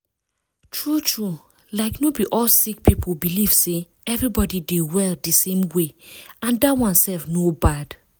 true true like no be all sick people believe say everybody dey well di same way and dat one sef no bad.